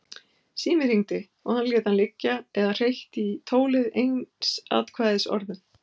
Síminn hringdi og hann lét hann liggja eða hreytti í tólið einsatkvæðisorðum.